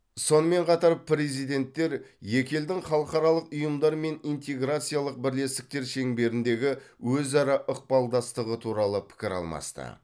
сонымен қатар президенттер екі елдің халықаралық ұйымдар мен интеграциялық бірлестіктер шеңберіндегі өзара ықпалдастығы туралы пікір алмасты